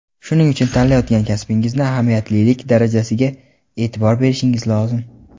shuning uchun tanlayotgan kasbingizni ahamiyatlilik darajasiga e’tibor berishingiz lozim.